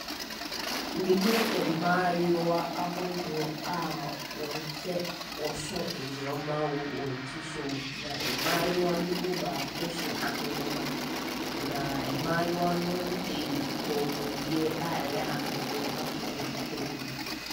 Mehunu mmaayewa ahodoɔ a wɔhyɛ wɔso nneɛma wɔ wɔn ti so, na mmaayewa no mu baako hyɛ ahenemma. Na mmaayewa no de kɔmuadeɛ a ɛyɛ ahweneɛ ato wɔn kɔn mu.